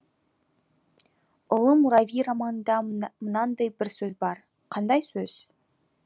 ұлы мурави романында мынандай бір сөз бар қандай сөз